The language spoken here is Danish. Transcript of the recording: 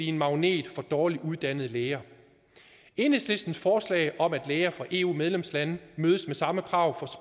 en magnet for dårligt uddannede læger enhedslistens forslag om at læger fra eu medlemslande mødes med samme krav